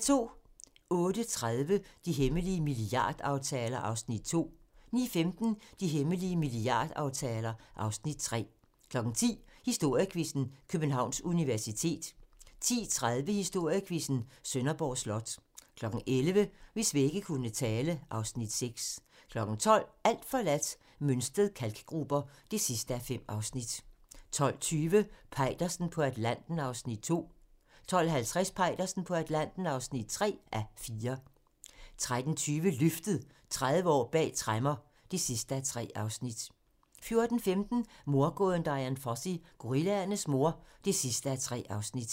08:30: De hemmelige milliardaftaler (Afs. 2) 09:15: De hemmelige milliardaftaler (Afs. 3) 10:00: Historiequizzen: Københavns Universitet 10:30: Historiequizzen: Sønderborg Slot 11:00: Hvis vægge kunne tale (Afs. 6) 12:00: Alt forladt - Mønsted Kalkgruber (5:5) 12:20: Peitersen på Atlanten (2:4) 12:50: Peitersen på Atlanten (3:4) 13:20: Løftet - 30 år bag tremmer (3:3) 14:15: Mordgåden Dian Fossey - Gorillaernes mor (3:3)